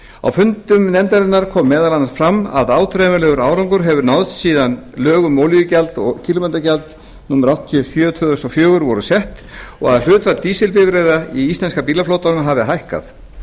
á fundum nefndarinnar kom meðal annars fram að áþreifanlegur árangur hafi náðst síðan lög um olíugjald og kílómetragjald númer áttatíu og sjö tvö þúsund og fjögur voru sett og að hlutfall dísilbifreiða í íslenska bílaflotanum hafi hækkað